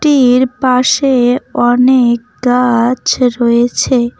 ওটির পাশে অনেক গাছ রয়েছে।